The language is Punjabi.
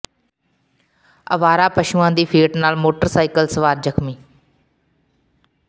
ਆਵਾਰਾ ਪਸ਼ੂਆਂ ਦੀ ਫੇਟ ਨਾਲ ਮੋਟਰ ਸਾਈਕਲ ਸਵਾਰ ਜ਼ਖ਼ਮੀ